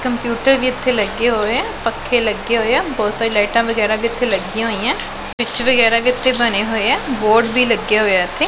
Computer ਵੀ ਏੱਥੇ ਲੱਗੇ ਹੋਏ ਆ ਪੱਖੇ ਲੱਗੇ ਹੋਏ ਆ ਬੋਹੁਤ ਸਾਰੀਆਂ ਲਾਈਟਾਂ ਵਗੈਰਾ ਵੀ ਏੱਥੇ ਲੱਗੀਆਂ ਹੋਈ ਐਂ ਸ੍ਵਿਟਚ ਵਗੈਰਾ ਵੀ ਏਥੇ ਬਣੇ ਹੋਏ ਆ ਬੋਰਡ ਵੀ ਲੱਗਿਆ ਹੋਇਆ ਏੱਥੇ।